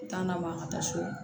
U t'an na ma an ka taa so